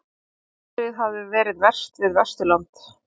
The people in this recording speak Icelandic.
Veðrið hafi verið verst við Vesturland